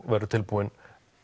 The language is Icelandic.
verður tilbúin